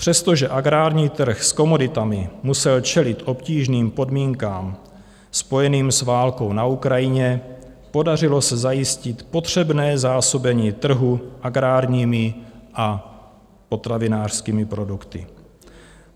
Přestože agrární trh s komoditami musel čelit obtížným podmínkám spojeným s válkou na Ukrajině, podařilo se zajistit potřebné zásobení trhu agrárními a potravinářskými produkty.